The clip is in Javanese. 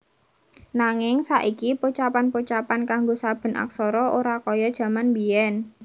Nanging saiki pocapan pocapan kanggo saben aksara ora kaya jaman biyèn